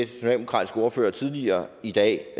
socialdemokratiske ordfører tidligere i dag